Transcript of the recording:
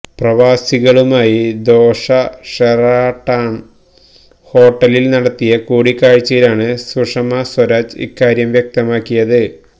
പ്രവാസികളുമായി Doha Sheraton ഹോട്ടലില് നടത്തിയ കൂടിക്കാഴ്ചയിലാണ് സുഷമ സ്വരാജ് ഇക്കാര്യം വ്യക്തമാക്കിയത്